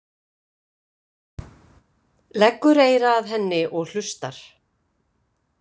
Leggur eyra að henni og hlustar.